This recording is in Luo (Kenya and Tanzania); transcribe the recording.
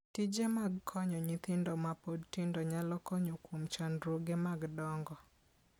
Tije mag konyo nyithindo ma pod tindo nyalo konyo kuom chandruoge mag dongo.